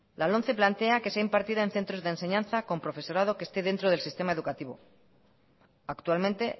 la lomce plantea que sea impartida en centros de enseñanza con profesorado que esté dentro del sistema educativo actualmente